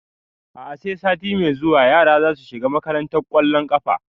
A'a sai sati mai zuwa yara na zasu shiga makantar ƙwallon ƙafa